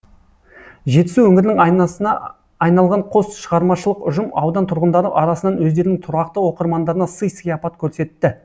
жетісу өңірінің айнасына айналған қос шығармашылық ұжым аудан тұрғындары арасынан өздерінің тұрақты оқырмандарына сый сияпат көрсетті